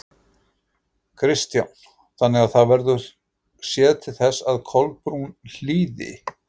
Kristján: Þannig að það verður séð til þess að Kolbrún hlýði?